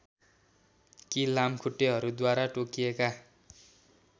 कि लामखुट्टेहरूद्वारा टोकिएका